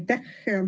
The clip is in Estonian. Aitäh!